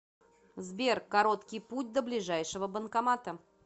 сбер короткий путь до ближайшего банкомата